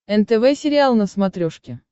нтв сериал на смотрешке